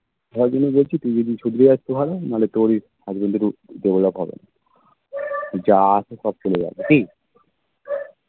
ভালো কথা বলছি তুই যদি শুধরে যাস তো ভালো নাহলে তোরই husband ই develop হবে না যা আছে সব ফেলে যাবো কি